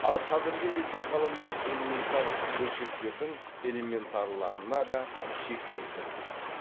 ал қазіргі кезде ғалымдар элементар бөлшектердің элементарларына да шек келтіріп жүр